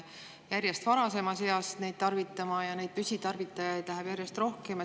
Järjest varasemas eas hakatakse neid tarvitama ja püsitarvitajaid on järjest rohkem.